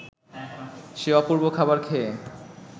সে অপূর্ব খাবার খেয়ে